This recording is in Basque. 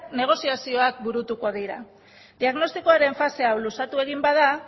negoziazioak burutuko dira diagnostikoaren fase hau luzatu egin bada